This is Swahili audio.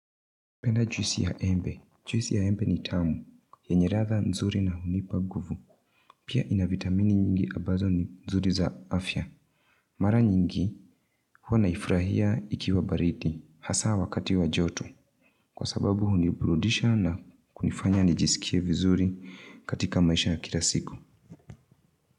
Penda juisi ya embe. Juisi ya embe ni tamu. Yenye ratha nzuri na hunipa guvu. Pia ina vitamini nyingi ambazo ni nzuri za afya. Mara nyingi, hua naifurahia ikiwa bariti. Hasaa wakati wa joto. Kwasababu huniburudisha na kunifanya nijisikie vizuri katika maisha kila siku.